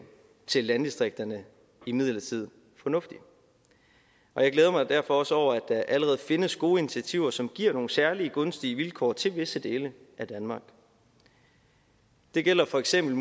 til landdistrikterne imidlertid fornuftig og jeg glæder mig derfor også over at der allerede findes gode initiativer som giver nogle særlig gunstige vilkår til visse dele af danmark det gælder for eksempel